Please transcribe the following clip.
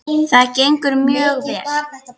Það gengur mjög vel.